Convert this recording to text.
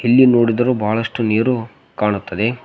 ಎಲ್ಲಿ ನೋಡಿದರು ಬಹಳಷ್ಟು ನೀರು ಕಾಣುತ್ತದೆ.